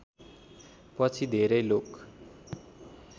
पछि धेरै लोक